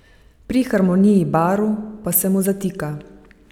Pri harmoniji barv pa se mu zatika.